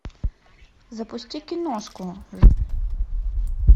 запусти киношку